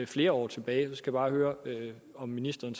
flere år tilbage jeg skal bare høre om ministeren